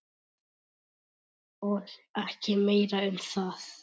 Og ekki meira um það!